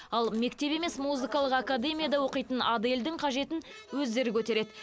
ал мектеп емес музыкалық академияда оқитын адельдің қажетін өздері көтереді